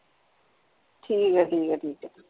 ਠੀਕ ਹੈ ਠੀਕ ਹੈ ਠੀਕ ਹੈ।